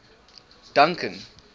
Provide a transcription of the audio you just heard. duncan